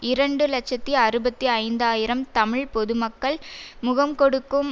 இரண்டு இலட்சத்தி அறுபத்தி ஐந்து ஆயிரம் தமிழ் பொது மக்கள் முகங்கொடுக்கும்